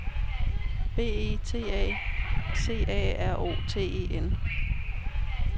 B E T A C A R O T E N